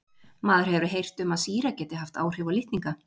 Maður hefur heyrt um að sýra geti haft áhrif á litninga.